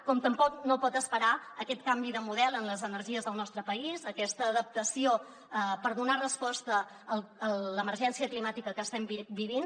com tampoc no pot esperar aquest canvi de model en les energies del nostre país aquesta adaptació per donar resposta a l’emergència climàtica que estem vivint